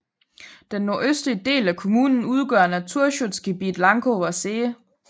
Den nordøstlige del af kommunen udgør Naturschutzgebiet Lankower See